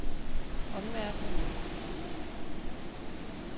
omverdenen